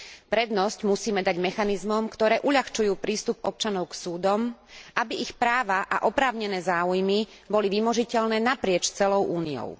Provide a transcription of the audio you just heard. Prednosť musíme dať mechanizmom, ktoré uľahčujú prístup občanov k súdom, aby ich práva a oprávnené záujmy boli vymožiteľné naprieč celou Úniou.